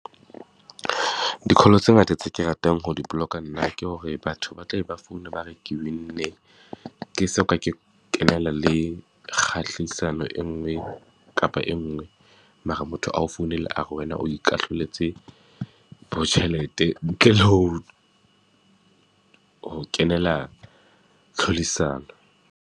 Di-call tse ngata tse ke ratang ho di block-a nna, ke hore batho ba tla be ba foune ba re ke win-nne, ke soka ke kenela le kgahlisano e nngwe kapa e nngwe. Mara motho ao founela a re wena o ikahloletse bo tjhelete ntle le ho, ho kenela tlhodisano.